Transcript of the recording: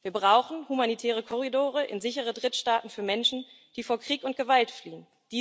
Wir brauchen humanitäre Korridore in sichere Drittstaaten für Menschen, die vor Krieg und Gewalt fliehen.